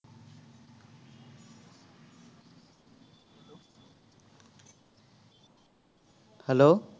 hello